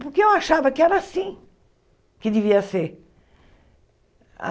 Porque eu achava que era assim que devia ser. A